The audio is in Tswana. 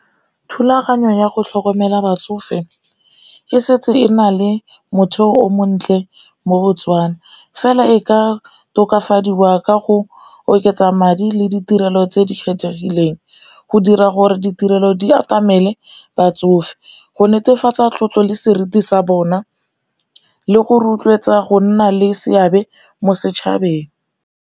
Thulaganyo ya go tlhokomela batsofe e setse e na le motheo o montle mo Botswana, fela e ka tokafadiwa ka go oketsa madi le ditirelo tse di kgethegileng go dira gore ditirelo di atamele batsofe, go netefatsa tlotlo le seriti sa bona le go rotloetsa go nna le seabe mo setšhabeng.